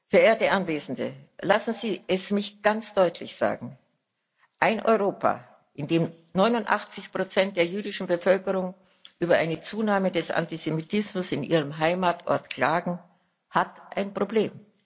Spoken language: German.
Verehrte Anwesende, lassen Sie es mich ganz deutlich sagen Ein Europa, in dem 89 der jüdischen Bevölkerung über eine Zunahme des Antisemitismus in ihrem Heimatort klagen, hat ein Problem.